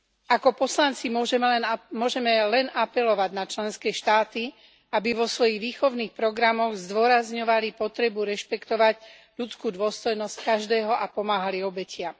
Ako poslanci môžeme len apelovať na členské štáty, aby vo svojich výchovných programoch zdôrazňovali potrebu rešpektovať ľudskú dôstojnosť každého a pomáhali obetiam.